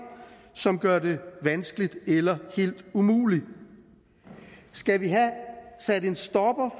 som gør det vanskeligt eller helt umuligt skal vi have sat en stopper